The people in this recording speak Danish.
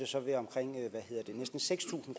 så være omkring næsten seks tusind